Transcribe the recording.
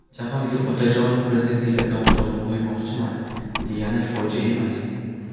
Jahongir Otajonov prezidentlikka nomzodimni qo‘ymoqchiman, degani fojia emas.